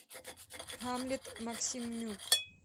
гамлет максимюк